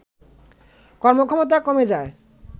কর্মক্ষমতা কমে যায়